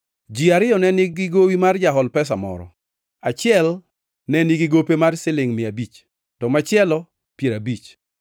“Ji ariyo ne nigi gowi mar jahol pesa, moro. Achiel nenigigope mar silingʼ mia abich, to machielo piero abich.